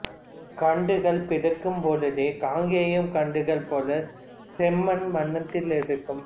கன்றுகள் பிறக்கம் பொழுது காங்கேயம் கன்றுகள் போல செம்மன் வண்ணத்திலிருக்கம்